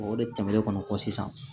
O de tɛmɛnen kɔ sisan